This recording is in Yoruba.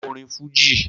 Ko orin Fuji!